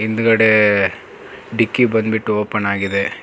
ಹಿಂದುಗಡೆ ಡಿಕ್ಕಿ ಬಂದ್ ಬಿಟ್ಟು ಓಪನ್ ಆಗಿದೆ.